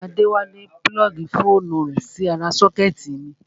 Adéwálé púlọ́ọ̀gì fóònù rẹ̀ sí ara sọ́kẹ́tì mi